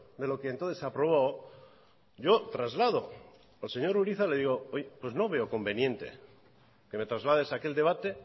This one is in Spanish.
de lo que entonces se aprobó yo traslado al señor urizar le digo oye pues no veo conveniente que me traslades a aquel debate